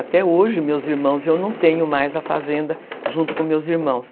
Até hoje, meus irmãos, eu não tenho mais a fazenda junto com meus irmãos.